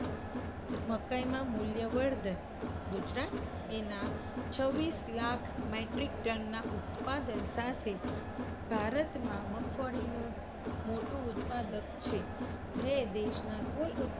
મકાઇમાં મુલ્ય વર્ધન- ગુજરાત એના છવ્વીસ લાખ metric ton ઉત્પાદન સાથે ભારતમાં મગફળીનું મોટું ઉત્પાદક છે. જે દેશના કુલ